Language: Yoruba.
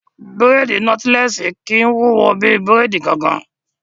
Bírèèdì nọ́tílẹ́ẹ̀sì kìí wúwo bí bírèèdì gangan